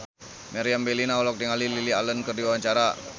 Meriam Bellina olohok ningali Lily Allen keur diwawancara